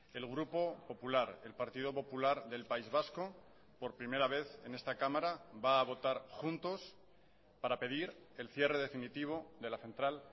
el grupo popular el partido popular del país vasco por primera vez en esta cámara va a votar juntos para pedir el cierre definitivo de la central